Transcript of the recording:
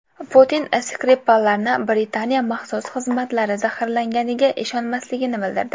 Putin Skripallarni Britaniya maxsus xizmatlari zaharlaganiga ishonmasligini bildirdi.